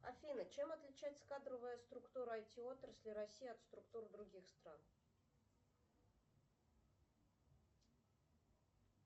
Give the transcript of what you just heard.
афина чем отличается кадровая структура айти отрасли россии от структур других стран